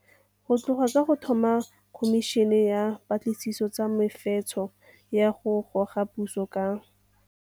Go tloga ka go tlhoma Khomišene ya Dipatlisiso tsa Mefetsho ya go Goga Puso ka.